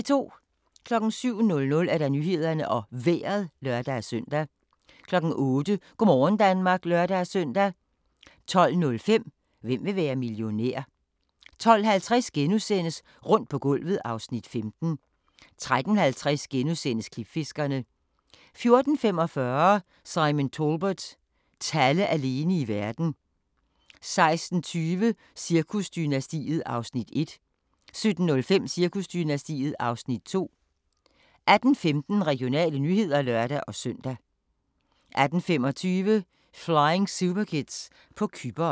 07:00: Nyhederne og Vejret (lør-søn) 08:00: Go' morgen Danmark (lør-søn) 12:05: Hvem vil være millionær? 12:50: Rundt på gulvet (Afs. 15)* 13:50: Klipfiskerne * 14:45: Simon Talbot – Talle alene i verden 16:20: Cirkusdynastiet (Afs. 1) 17:05: Cirkusdynastiet (Afs. 2) 18:15: Regionale nyheder (lør-søn) 18:25: Flying Superkids på Cypern